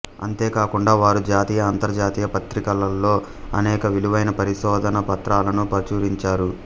అంతేకాకుండా వారు జాతీయ అంతర్జాతీయ పత్రికలలో అనేక విలువైన పరిశోధనా పత్రాలను ప్రచురించారు